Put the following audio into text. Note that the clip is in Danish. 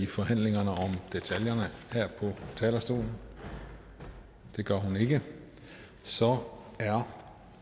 i forhandlingerne om detaljerne her på talerstolen det gør hun ikke så er